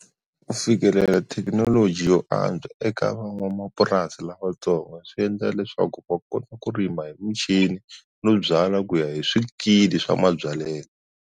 Ku fikelela thekinoloji yo antswa eka van'wamapurasi lavatsongo swi endla leswaku va kota ku rima hi muchini no byala ku ya hi swikili swa mabyalelo.